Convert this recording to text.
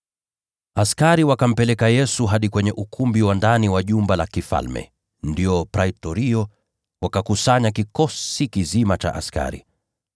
Askari wakampeleka Yesu hadi kwenye ukumbi wa ndani wa jumba la kifalme, ndio Praitorio, wakakusanya kikosi kizima cha askari.